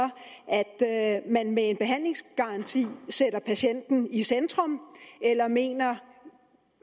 at man med en behandlingsgaranti sætter patienten i centrum eller mener